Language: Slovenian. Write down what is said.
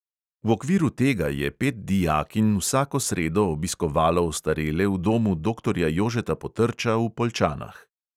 V okviru tega je pet dijakinj vsako sredo obiskovalo ostarele v domu doktorja jožeta potrča v poljčanah.